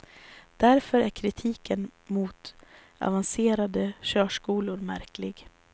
Därför är kritiken mot avancerade körskolor märklig.